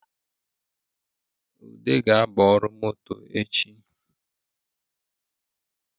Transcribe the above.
Ude ga-aba ọrụ moto echi